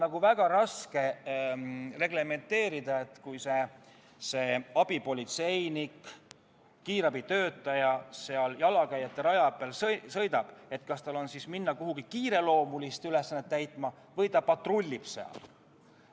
Aga on väga raske reglementeerida, et kas siis, kui abipolitseinik või kiirabitöötaja jalakäijate raja peal sõidab, läheb ta kuhugi kiireloomulisi ülesandeid täitma või patrullib seal.